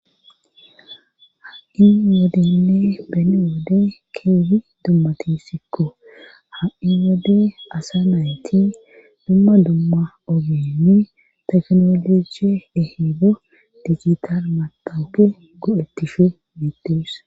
Ha'in wodinne bene wode keefi dummatisikko ha'in wode asa nayti dumma dumma ogemi teknoloji ehibo digital matowke go'ettishu midees